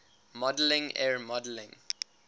modeling er modeling